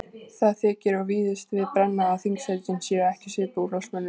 Það þykir og víðast við brenna að þingsætin séu ekki skipuð úrvalsmönnum.